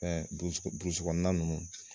ninnu.